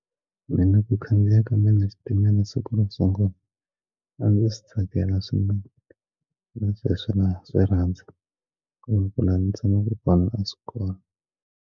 Mina ku khandziya ka mina switimela a ndzi swi tsakela swinene na sweswi na swi rhandza kambe laha ndzi tshamaka kona a swi kona.